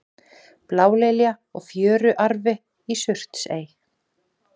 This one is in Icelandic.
blálilja og fjöruarfi í surtsey